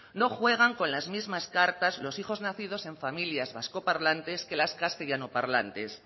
no juegan con las mismas cartas los hijos nacidos en familias vascoparlantes que las castellanoparlantes